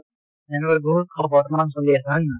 বিহুত বৰ্তমান চলি আছে হয় নে নহয়?